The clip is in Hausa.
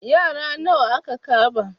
Yara nawa aka kama?